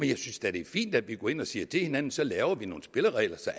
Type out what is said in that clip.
jeg synes da det er fint at vi går ind og siger til hinanden så laver vi nogle spilleregler så